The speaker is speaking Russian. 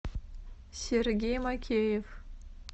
сергей макеев